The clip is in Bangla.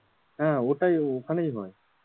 হ্যাঁ ওটাই ওখানে হয়,